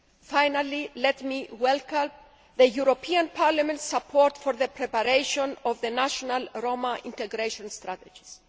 Finally, let me welcome the European Parliament's support for the preparation of the National Roma Integration Strategies.